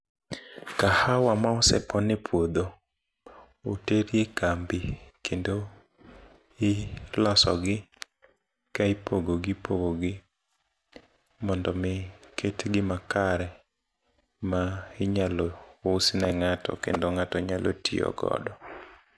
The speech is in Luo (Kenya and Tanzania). Kahawa ma osepon e puodho otere kambi kendo iloso gi ka ipogo gi ipogo gi mondo mi ketgi makare ma inyalo usne ng'ato kendo ng'ato nyalo tiyo godo.